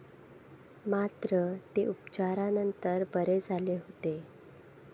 मात्र, ते उपचारानंतर बरे झाले होते.